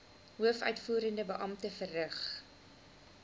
hoofuitvoerende beampte verrig